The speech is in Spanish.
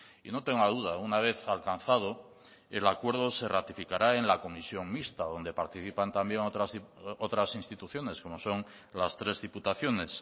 y no tenga duda una vez alcanzado el acuerdo se ratificará en la comisión mixta donde participan también otras instituciones como son las tres diputaciones